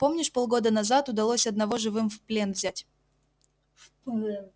помнишь полгода назад удалось одного живым в плен взять